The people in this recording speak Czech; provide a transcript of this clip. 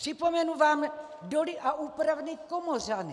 Připomenu vám Doly a úpravny Komořany.